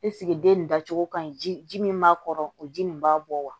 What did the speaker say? den nin da cogo ka ɲi ji min b'a kɔrɔ o ji nin b'a bɔ wa